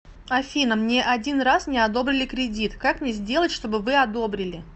афина мне один раз не одобрили кредит как мне сделать чтобы вы одобрили